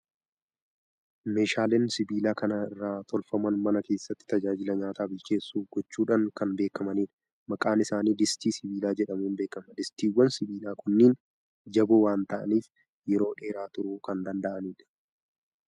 Meeshaaleen sibiila kana irraa tolfaman mana keessatti tajaajila nyaata bilcheessuu gochuudhaan kan beekamanidha. Maqaan isaanii distii sibiilaa jedhamuun beekama. Distiiwwan sibiilaa kunneen jaboo waan ta'aniif, yeroo dheeraa turuu kan danda'anidha.